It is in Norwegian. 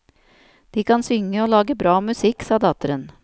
De kan synge og lage bra musikk, sa datteren.